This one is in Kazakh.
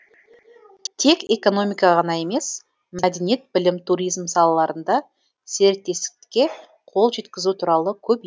тек экономика ғана емес мәдениет білім туризм салаларында серіктестікке қол жеткізу туралы